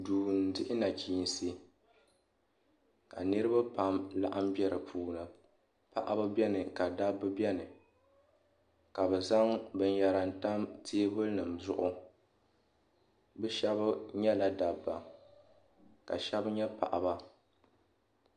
Duu n dihi naɣachiinsi ka niriba pam n laɣim be dipuuni paɣaba biɛni ka dabba biɛni ka bɛ zaŋ binyera n tam teebuli nima zuɣu bɛ sheba nyɛla dabba ka sheba nyɛ paɣaba.